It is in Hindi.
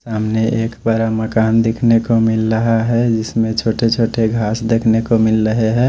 सामने एक बारा मकान देखने को मिल रहा है जिसमें छोटे छोटे घास देखने को मिल रहे हैं।